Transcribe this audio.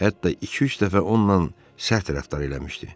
Hətta iki-üç dəfə onunla sərt rəftar eləmişdi.